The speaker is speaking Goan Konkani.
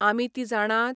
आमी तीं जाणात?